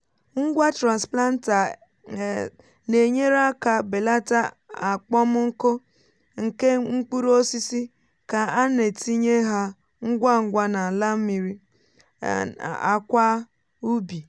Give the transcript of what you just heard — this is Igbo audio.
ngwa transplanter um na-enyere aka belata akpọmnku nke mkpụrụ osisi ka a na-etinye ha ngwa ngwa n’ala mmiri um àkwà um úbi